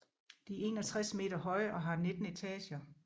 De er 61 meter høje og har 19 etager